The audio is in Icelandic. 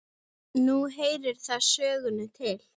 Nú heyrir það sögunni til.